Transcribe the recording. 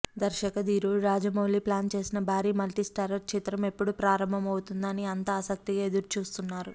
దర్శక ధీరుడు రాజమౌళి ప్లాన్ చేసిన భారీ మల్టీస్టారర్ చిత్రం ఎప్పుడు ప్రారంభం అవుతుందా అని అంతా ఆసక్తిగా ఎదురుచూస్తున్నారు